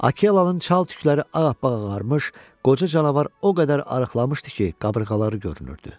Akelanın çal tükləri ağappağ ağarmış, qoca canavar o qədər arıqlamışdı ki, qabırğaları görünürdü.